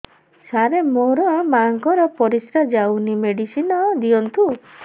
ସାର ମୋର ମାଆଙ୍କର ପରିସ୍ରା ଯାଉନି ମେଡିସିନ ଦିଅନ୍ତୁ